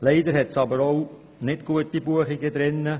Leider hat es jedoch auch weniger gute Buchungen dabei.